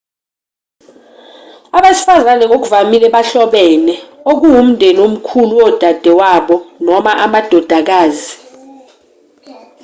abesifazane ngokuvamile bahlobene okuwumndeni omkhulu wodadewabo noma amadodakazi